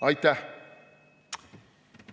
Aitäh!